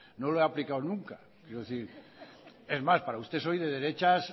no lo he aplicado nunca quiero decir es más para usted soy de derechas